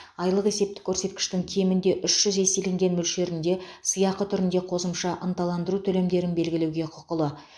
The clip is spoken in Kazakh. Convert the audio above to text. айлық есептік көрсеткіштің кемінде үш жүз еселенген мөлшерінде сыйақы түрінде қосымша ынталандыру төлемдерін белгілеуге құқылы